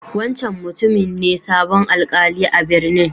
Wancan mutumin ne sabon Alkali a'birnin.